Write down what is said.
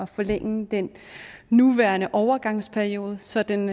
forlænge den nuværende overgangsperiode så den